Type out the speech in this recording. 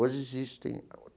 Hoje existe ainda.